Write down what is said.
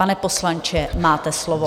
Pane poslanče, máte slovo.